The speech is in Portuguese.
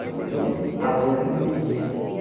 Você conseguia Às vezes me impedia e a